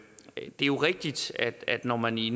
er jo rigtigt at når man i